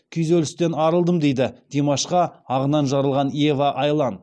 күйзелістен арылдым дейді димашқа ағынан жарылған ева айлан